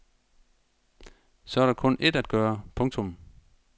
Så er der kun ét at gøre. punktum